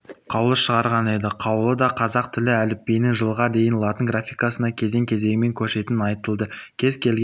қаулы шығарған еді қаулыдақазақ тілі әліпбиінің жылға дейін латын графикасына кезең-кезеңімен көшетіні айтылды кез келген